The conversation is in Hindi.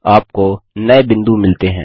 आपको नए बिंदु मिलते हैं